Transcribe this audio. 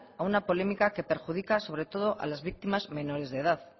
a una polémica que perjudica sobre todo a las víctimas menores de edad